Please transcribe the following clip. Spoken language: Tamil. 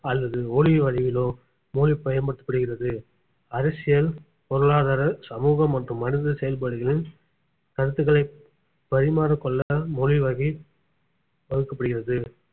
அல்லது ஒலி வடிவிலோ மொழி பயன்படுத்தப்படுகிறது அரசியல் பொருளாதார சமூகம் மற்றும் மனித செயல்பாடுகளின் கருத்துக்களை பரிமாறக் கொள்ள மொழிவகை வகுக்கப்படுகிறது